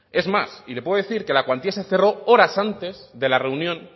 es más y le puedo decir que la cuantía se cerró horas antes de la reunión